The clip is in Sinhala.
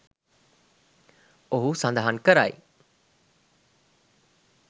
ඔහු සඳහන් කරයි